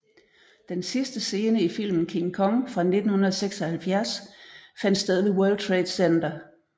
Den sidste scene i filmen King Kong fra 1976 fandt sted ved World Trade Center